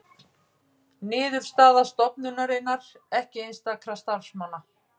Niðurstaða stofnunarinnar ekki einstakra starfsmanna